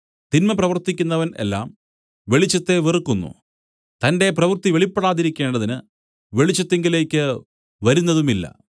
തിന്മ പ്രവർത്തിക്കുന്നവൻ എല്ലാം വെളിച്ചത്തെ വെറുക്കുന്നു തന്റെ പ്രവൃത്തി വെളിപ്പെടാതിരിക്കേണ്ടതിന് വെളിച്ചത്തിങ്കലേക്ക് വരുന്നതുമില്ല